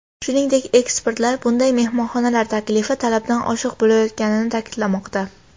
Shuningdek, ekspertlar bunday mehmonxonalar taklifi talabdan oshiq bo‘layotganini ta’kidlamoqda.